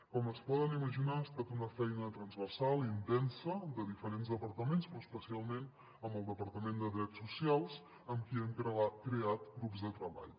com es poden imaginar ha estat una feina transversal i intensa de diferents departaments però especialment amb el departament de drets socials amb qui hem creat grups de treball